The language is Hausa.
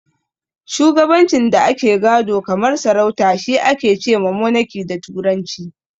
Shugabancin da ake gado kamar sarauta shi ake ce ma "Monaki" da turanci.